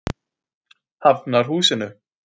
Hafnarhúsinu